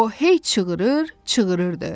O hey çığırır, çığırırdı.